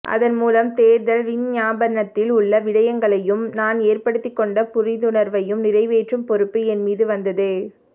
அதன்மூலம் தேர்தல் விஞ்ஞாபனத்தில் உள்ள விடயங்களையூம் நான் ஏற்படுத்திக்கொண்ட புரிந்துணர்வையூம் நிறைவேற்றும் பொறுப்பு என் மீது வந்தது